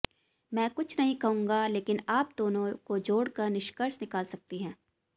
मैं कुछ नहीं कहूंगा लेकिन आप दोनों को जोड़कर निष्कर्ष निकाल सकती हैं